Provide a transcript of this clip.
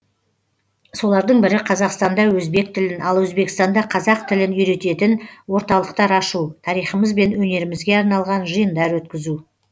солардың бірі қазақстанда өзбек тілін ал өзбекстанда қазақ тілін үйрететін орталықтар ашу тарихымыз бен өнерімізге арналған жиындар өткізу